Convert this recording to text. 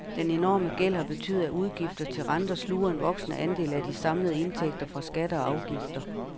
Den enorme gæld har betydet, at udgifter til renter sluger en voksende andel af de samlede indtægter fra skatter og afgifter.